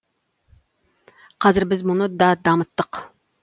қазір біз мұны да дамыттық